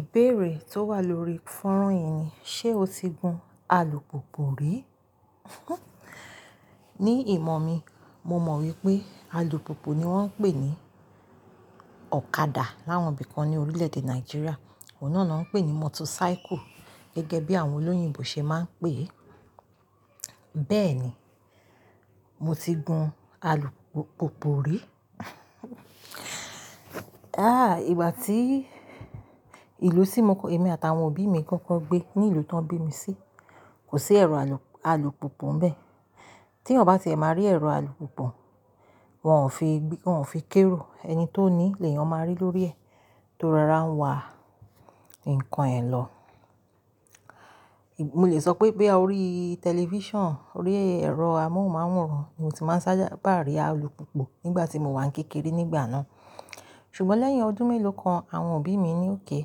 Ìbéèrè tó wà lórí fọ́nrán yìí ni, ṣe o ti gun alùpùpù rí? Ní ìmọ̀ mi, mo mọ̀ wípé alùpùpù ni wón ń pè ní ọ̀kadà láwọn ibì kan ní orílẹ̀èdè Nàìjíríà, òun náà ni wón ń pè ní motorcycle gẹ́gẹ́ bí àwọn olóyìnbo ṣe máa ń pè é. Bẹ́ẹ̀ ni, mo ti gun alùpùpù rí. Ah, ìgbà tí ìlú tí mo kọ-- èmi àtàwọn òbí mi kọ́kọ́ gbé, ní ìlú tó ń bí mi sí, kò sí ẹ̀rọ alùpùpù ni bẹ́ẹ̀. Tí èéyàn bá ti è máa rí ẹ̀rọ alùpùpù, wọn ò fi gbé, wọn ò fi kó érò. Ẹni tó ní i lèéyàn máa rí lórí ẹ̀ tó rora ń wa ǹkan ẹ lọ. Mo lè sọ pé bí a ó rí tẹlifíṣàn, orí ẹ̀rọ amóhùnmáwòrán, mo sì máa ń sálá pá rí alùpùpù nígbà tí mo wà kékeré nígbà náà. Ṣùgbọ́n lẹ́yìn ọdún mélòó kan, àwọn òbí mi ní okay,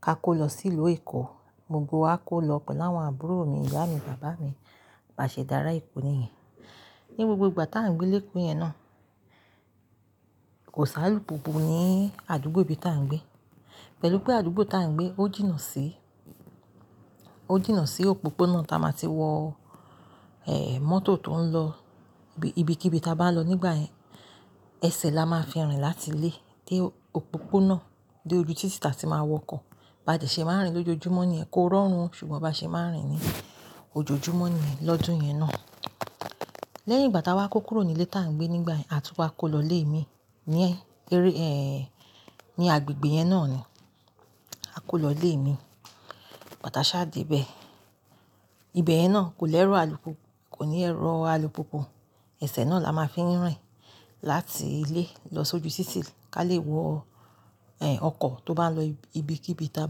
a kó lọ sí ìlú Èkó. Gbogbo wa kó lọ pẹ̀lú àwọn àbúrò mi, ìyá mi, bàbá mi, bí aṣe dára Èkó nìyẹn. Ní gbogbo ìgbà tá ń gbé léko yẹn náà, kò sí alùpùpù ní àdúgbò ibi tá ń gbé. Pẹ̀lú pé àdúgbò tá ń gbé ó jìnnà sí, ó jìnnà sí òpópónà tá a máa ti wọ, ehen mótò tó ń lọ ibi kí ibi tá bá lọ nígbà yẹn. Ẹsẹ̀ la máa ń fi rìn láti ilé dé òpópónà dé ojú títì tá a ti máa wọ ọkọ̀. Ba dè ṣe máa rìn lójoojúmọ́ ni ẹ kó rọrùn, ṣùgbọ́n ba ṣe máa rìn ní ojoojúmọ́ ni lọ́dún yẹn náà. Lẹ́yìn ìgbà tá a wá kó kúrò nílé tá ń gbé nígbà yẹn àti kó wa kó lọ ilé mi ní ẹ́, eré, ehen ní agbègbè yẹn náà ni. A kó lọ ilé mi, ìgbà tï aṣá débẹ̀. Ibe yẹn náà kò lẹ́rọ̀ alùpùpù, kò ní ẹ̀rọ alùpùpù. Ẹsẹ̀ náà la máa ń fi rìn láti ilé lọ sójú títì ká lè wọ, ehen ọkọ̀ tó bá ń lọ ibi kí ibi tá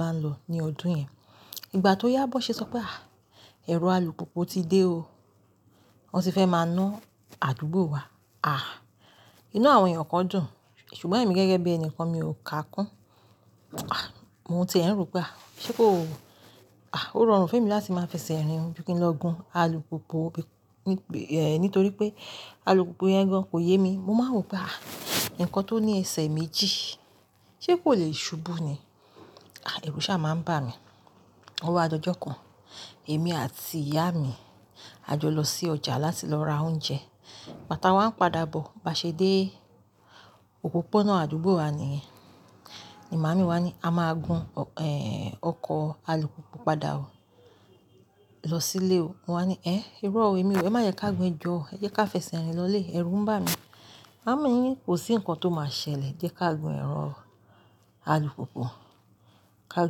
bá ń lọ ní ọdún yẹn. Ìgbà tó yá bó ṣe sọ pé, ah, ẹ̀rọ alùpùpù ti dé o. Wọn ti fẹ́ máa ná àdúgbò wa. Ah, inú àwọn èèyàn kan dùn, ṣùgbọ́n ẹ̀mi gẹ́gẹ́ bí ẹni kan mi ò ká kún. Ah, mo ń ti ẹ́ n ro pé, ah ṣé kó o. Ah, ó rọrùn fún èmi láti máa fẹsẹ̀ rìn ju kí n lọ gun alùpùpù nítorí pé alùpùpù yẹn gan kò yé mi. Mo máa ń rò pé, ah, ǹkan tó ní ẹsẹ̀ méjì ṣé kò le ṣubú ni? Ah, èrù sá máa ń bà mí. Ówá di ojó kan, èmi àti ìyá mi á jọ lọ sí ọjà láti lọ ra oúnjẹ. Ìgbà tí a wa ń padà bọ̀, bá ṣe dé òpópónà àdúgbò wa nìyẹn. Ni màámi wá ní, "A máa gun, ehen ọkọ̀ alùpùpù padà o. Lọ sílé o." Mo wá ní, "Ẹ́, irọ́ o èmi o, ẹ má jé ká gun, e jọ o, ẹ jẹ ká fẹsẹ̀ rìn lọlé." Ẹ̀rù ń bà mí. Màámi mi ní, "Kò sí ǹkan tó máa ṣẹlẹ̀, jẹ ká gun ẹ̀rọ alùpùpù, ká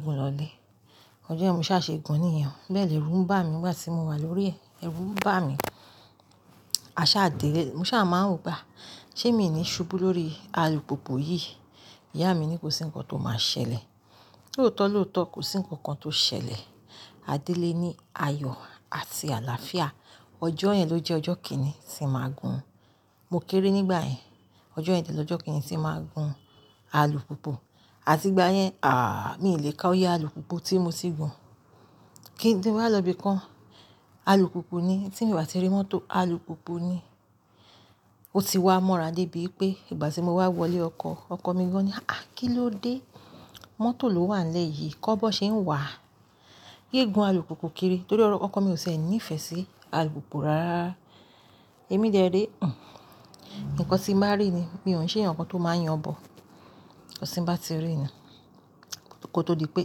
gun lọlé." Ọjọ́ yẹn mo ṣá ṣe gun nìyẹn. Bẹ́ẹ̀ lẹ̀ èrù ń bà mí nígbà tí mo wà lórí rẹ̀, èrù ń bà mí. A sá dé ilé, mo ṣá máa ń rò pé, ṣé míì ní ṣubú lórí alùpùpù yìí. Ìyá mi ní kò sí ǹkan tó máa ṣẹlẹ̀. Lóòótọ́ lóòótọ́ kò sí nǹkan kan tó ṣẹlẹ̀. A dé ilé ní ayọ̀ àti àlàáfíà. Ọjọ́ yẹn ló jẹ́ ọjọ́ kìn-ín-nín tí mo máa gun. Mo kéré nígbà yẹn. Ọjọ́ yẹn dẹ́ lọ́jọ́ kìn-ín-nín tí mo máa gun alùpùpù. Àti ìgbà yẹn, àh mi o lé ká oye alùpùpù tí mo ti gun. Kí ni mo máa lọ ibi kan, alùpùpù ni. Tí mo bá ti rí mọ́tò, alùpùpù ni. Ó ti wá mọ́ra dé ibí pé ìgbà tí mo wá wọlé ọkọ̀, ọkọ̀ mi gan ni, "Ah, kí ló dé? Mọ́tò ló wà n lẹ́yìí. Kọ́ bí wón ṣe ń wà? Yé gun alùpùpù kiri." Nítorí ọkọ̀ mi ò ṣe ẹ́ ní ìfẹ́ sí alùpùpù rárá. Èmi dẹ́ re, hun, ǹkan tí màá rí ni mi ò kín se eèyán kan tó máa ń yàn bo. Nkan tí n bá ti rí ni. Ko tó di pé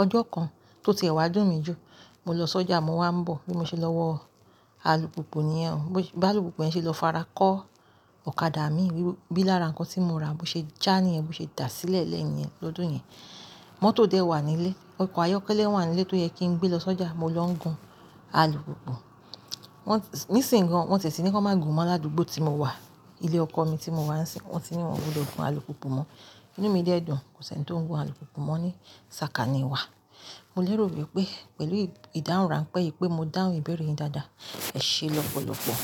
ọjọ́ kan tó ti ẹ̀wá dún mi jù, mo lọ sọ́jà, mo wá ń bọ̀ bí mo ṣe lọ wọ alùpùpù nìyẹn. Bí alùpùpù yẹn ṣe lọ fara kó ọ̀kadà mi bí lára ǹkan tí mo ra bó ṣe já niyẹn, bó ṣe dà sílẹ̀ lẹ́yìn yẹn lọ́dún yẹn. Mọ́tò dẹ̀ wà nílé, ọkọ̀ ayọ́kẹ́lẹ́ wà nílé tó yẹ kí n gbé lọ sọ́jà, mo ló ń gun alùpùpù. Wọ́n, níṣìnyín gan wọn ti è ti ní kí wọn má gun mọ́ ládùúgbò tí mo wà. Ilé ọkọ mi tí mo wà níìsìnyí, wọ́n sì ní wọn kò lè gun alùpùpù mọ́. Ìnú mi dẹ̀ dùn, kò sì ẹni tó ń gun alùpùpù mọ́ ní sàká ni ìwà. Mo lẹ́rò wípé pẹ̀lú ìdáhùn ránpé yì pé mo dáhùn ìbéèrè yìí dáadáa. Ẹ̀ ṣe lọ́pọ̀lọpọ̀.